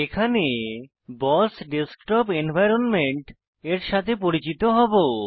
এখানে BOSS desktop environment এর সাথে পরিচিত হবো